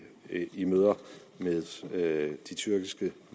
i møder med de tyrkiske